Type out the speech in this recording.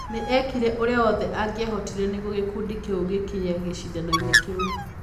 Nĩ eekire ũrĩa wothe angĩahotire nĩguo gĩkundi kĩu gĩkinye gĩcindano-inĩ kĩu.